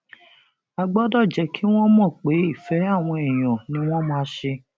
a gbọdọ jẹ kí wọn mọ pé ìfẹ àwọn èèyàn ni wọn máa ṣe